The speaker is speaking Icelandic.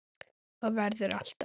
Og verður alltaf.